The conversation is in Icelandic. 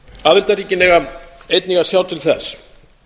aðildarríkin eiga einnig að sjá til þess